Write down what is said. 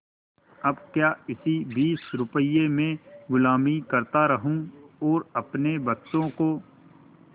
अब क्या इसी बीस रुपये में गुलामी करता रहूँ और अपने बच्चों को